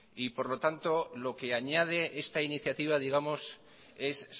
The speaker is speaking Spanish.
por lo tanto lo que añade esta iniciativa es